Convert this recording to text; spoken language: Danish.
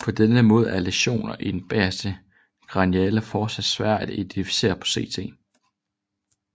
På samme måde er læsioner i den bagerste kraniale fossa svære at identificere på CT